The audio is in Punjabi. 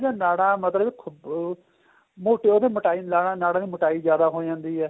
ਨਾੜਾ ਮਤਲਬ ਅਹ ਮੋਟੀ ਉਹਦੀ ਮੋਟਾਈ ਲਾ ਨਾੜਾ ਦੀ ਮੋਟਾਈ ਜਿਆਦਾ ਹੋ ਜਾਂਦੀ ਏ